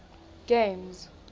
games